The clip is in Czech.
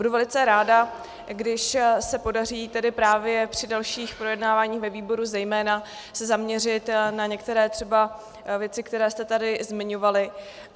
Budu velice ráda, když se podaří tedy právě při dalších projednáváních ve výboru zejména se zaměřit na některé třeba věci, které jste tady zmiňovali.